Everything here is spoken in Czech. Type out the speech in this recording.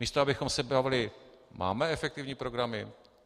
Místo abychom se bavili: Máme efektivní programy?